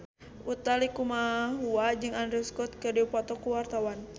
Utha Likumahua jeung Andrew Scott keur dipoto ku wartawan